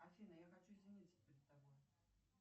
афина я хочу извиниться перед тобой